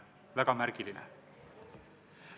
Väga märgiline!